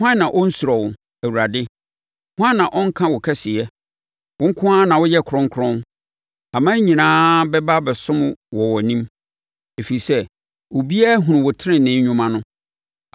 Hwan na ɔnsuro wo, Awurade? Hwan na ɔrenka wo kɛseyɛ? Wo nko na woyɛ kronkron. Aman nyinaa bɛba abɛsom wɔ wʼanim, ɛfiri sɛ, obiara ahunu wo tenenee nnwuma no.”